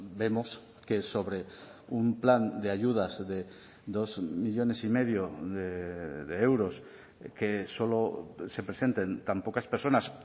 vemos que sobre un plan de ayudas de dos millónes y medio de euros que solo se presenten tan pocas personas